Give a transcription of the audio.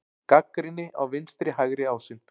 Gagnrýni á vinstri-hægri ásinn